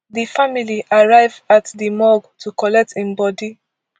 di family arrive at di morgue to collect im body